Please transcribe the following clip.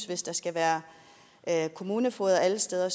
hvis der skal være kommunefogeder alle steder